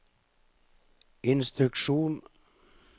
instruksjon